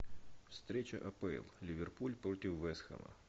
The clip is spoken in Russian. встреча апл ливерпуль против вест хэма